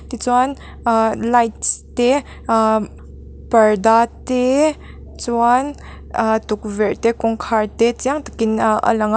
tichuan ahh lights te ahh parda te chuan ahh tukverh te kawngkhar te chiang takin ahh a lang a.